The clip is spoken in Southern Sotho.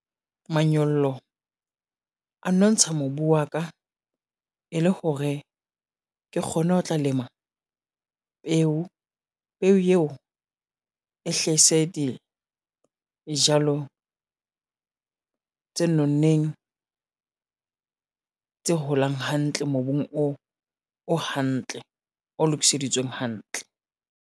Manyollo a nontsha mobu wa ka, e le hore ke kgone ho tla lema peo. Peo eo e hlaise dijalo tse nonneng, tse holang hantle mobung o hantle o lokiseditsweng hantle.